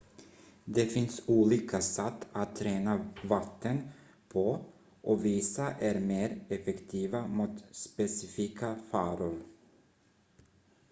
det finns olika satt att rena vatten på och vissa är mer effektiva mot specifika faror